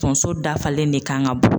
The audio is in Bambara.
Tonso dafalen de kan ka bɔ